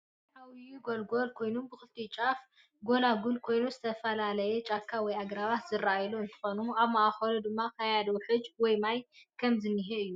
እዚ ዓብይ ጎለልጎለል ኮይኑ ብክልትኡ ጫፍ ግልጎለል ኮይኑ ዝተፈላላይ ጫካ ወይ ኣግራባት ዝረኣዩ እንትኮኑ ኣብ ማእከሉ ድማ ክያዲ ውሕጅ ወይ ማይ ከም ዝነሂ እዩ።